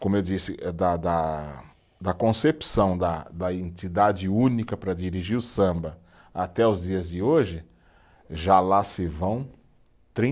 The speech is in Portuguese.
Como eu disse, da da da concepção da da entidade única para dirigir o samba até os dias de hoje, já lá se vão